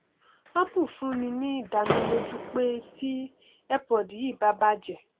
apple fúnni ní ìdánilójú pé ti earpod yìí bá bàjẹ